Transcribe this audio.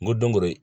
N ko don go don